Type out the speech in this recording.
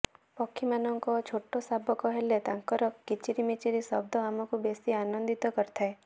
ପକ୍ଷୀମାନଙ୍କ ଛୋଟ ଶାବକ ହେଲେ ତାଙ୍କର କିଚରିମିଚରି ଶବ୍ଦ ଆମକୁ ବେଶୀ ଆନନ୍ଦିତ କରିଥାଏ